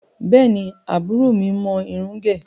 Bẹ́ẹ̀ni, àbúrò mi mọ irun ń gẹ̀.